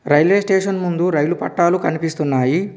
Railway station ముందు rail పట్టాలు కనిపిస్తున్నాయి.